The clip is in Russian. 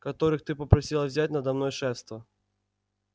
которых ты попросила взять надо мной шефство